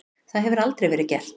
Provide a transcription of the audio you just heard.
Það hefur aldrei verið gert.